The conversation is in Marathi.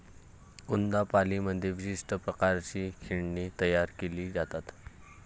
कोन्दापाल्लीमध्ये विशिष्ट प्रकारची खेळणी तयार केली जातात.